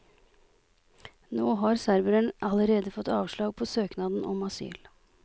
Nå har serberen allerede fått avslag på søknaden om asyl.